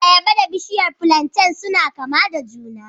Ayaba da bishiyar plantain suna kama da juna